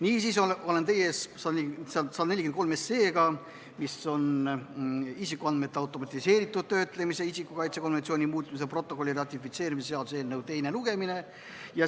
Niisiis, teie ees on seaduseelnõu 143, mis on isikuandmete automatiseeritud töötlemisel isiku kaitse konventsiooni muutmise protokolli ratifitseerimise seaduse eelnõu, teine lugemine.